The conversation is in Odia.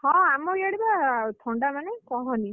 ହଁ ଆମ ଇଆଡେ ବା ଏତେ ଥଣ୍ଡାମାନେ କହନି